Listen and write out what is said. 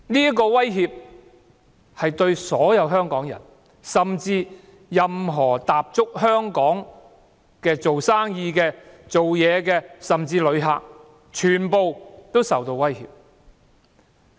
這會威脅所有香港人，甚至所有在香港營商工作的人和旅客，他們全皆會受影響。